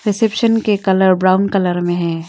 Reception के colour brown colour में है।